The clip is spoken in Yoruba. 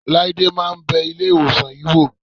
Láídé máa ń bẹ Ilé-ìwòsàn yìí wò.